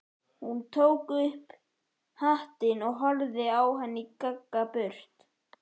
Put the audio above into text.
Hún tók upp hattinn og horfði á hann ganga burt.